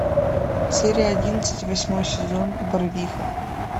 серия одиннадцать восьмой сезон барвиха